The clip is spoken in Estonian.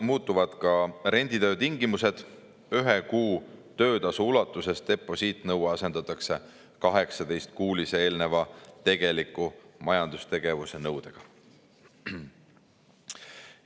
Muutuvad ka renditöö tingimused, ühe kuu töötasu ulatuses deposiidi nõue asendatakse 18-kuulise eelneva tegeliku majandustegevuse nõudega.